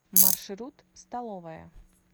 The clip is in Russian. маршрут столовая